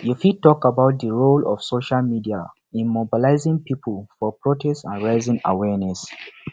you fit talk about di role of social media in mobilizing people for protest and raising awareness